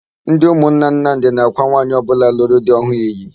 Ndị ụmụnna Nnamdị na-ákwà nwaanyị ọbụla lụrụ di ọhụụ iyi.